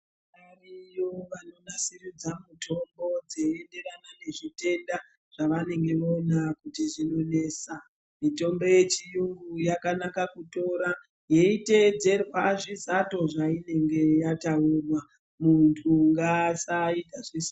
Variyo vanonasiridza mutombo dzeienderana nezvitenda zvainenge vaona kuti zvinoanesa mitombo yechiyungu yakanaka kutora yeitedzerwa zvizato zvavanenge vataura muntu ngaasaita zvese aoro rakwe.